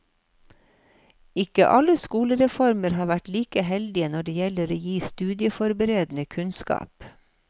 Ikke alle skolereformer har vært like heldige når det gjelder å gi studieforberedende kunnskap.